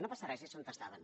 no passa res és on estaven